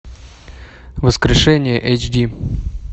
воскрешение эйч ди